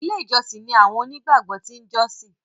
ilé ìjósìn ní àwọn òní gbàgbó tin jọsin